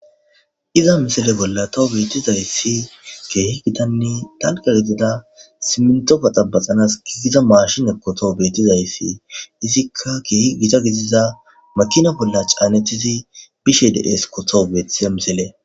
Ha misile bolla tawu betizayisi gitanne dalga gidida siminto baxabaxanas madiza mashineko tawu betizayisi izika kehi gita godiza makina bolla ca,anetidi bishe desko tawu betizayisi